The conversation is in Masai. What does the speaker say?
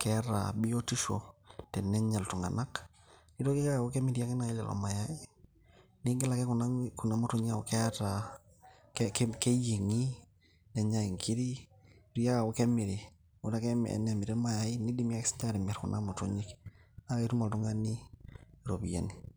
keeta biotisho tenenya iltung'anak. Nitoki aku kemiri ake nai lelo mayai. Nigil ake kuna motinyik aku keeta keyieng'i, nenyai inkiri. Nitoki ake aku kemiri. Ore ake ena nemiri irmayai, kidimi si nye atimir kuna motonyik. Na ketum oltung'ani iropiyiani.